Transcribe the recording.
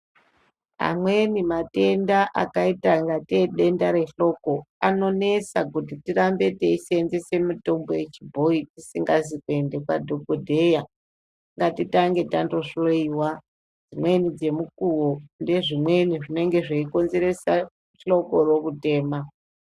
Amweni matenda akaita kunga tee denda rehloko anonesa kuti tirambe teisenzesa mitombo yechibhoi tisingazi kuenda kwadhogodheya. Ngatitange tandohoiwa dzimweni dzemukuvo nedzimweni dzinenge dzeikonzeresa hlokoro kutema.